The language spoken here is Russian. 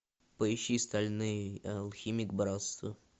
поищи стальной алхимик братство